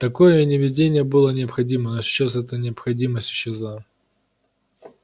такое неведение было необходимо но сейчас эта необходимость исчезла